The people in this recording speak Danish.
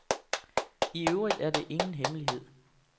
I øvrigt er det ingen hemmelighed.